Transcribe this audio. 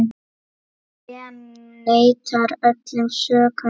Lee neitar öllum sökum.